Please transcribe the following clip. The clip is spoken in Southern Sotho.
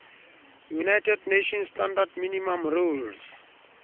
united nations standard minimum rules